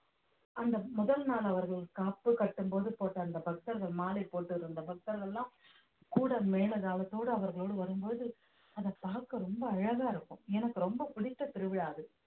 அந்த முதல் நாள் அவர்கள் காப்பு கட்டும்போது போட்ட அந்த பக்தர்கள் மாலை போட்டிருந்த பக்தர்கள் எல்லாம் கூட மேளதாளத்தோடு அவர்களோடு வரும்போது அதை பார்க்க ரொம்ப அழகா இருக்கும் எனக்கு ரொம்ப பிடித்த திருவிழா அது